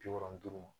Bi wolonwula duuru ma